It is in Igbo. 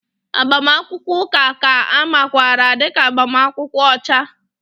Agbamakwụkwọ ụka ka a makwaara dị ka agbamakwụkwọ ọcha